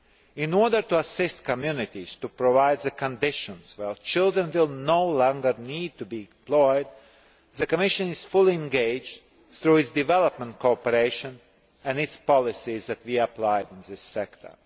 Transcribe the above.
In order to assist communities to provide the conditions where children will no longer need to be employed, the Commission is fully engaged through its development cooperation and its policies that we apply in this sector.